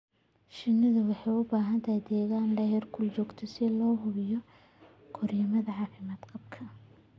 Shinnidu waxay u baahan tahay deegaan leh heerkul joogto ah si loo hubiyo korriimadooda caafimaad qaba.